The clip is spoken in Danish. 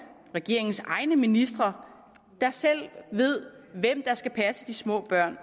regeringens egne ministre der selv ved hvem der skal passe de små børn